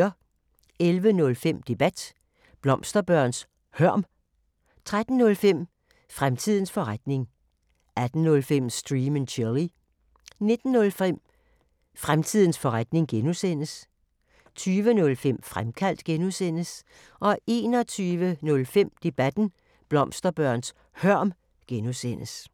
11:05: Debat: Blomsterbørns hørm 13:05: Fremtidens forretning 18:05: Stream & Chill 19:05: Fremtidens forretning (G) 20:05: Fremkaldt (G) 21:05: Debat: Blomsterbørns hørm (G)